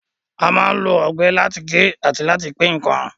A máa ń lo ọ̀bẹ láti gé àti láti pín ǹkan